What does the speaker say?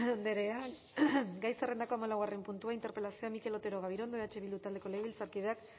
andrea gai zerrendako hamalaugarren puntua interpelazioa mikel otero gabirondo eh bildu taldeko legebiltzarkideak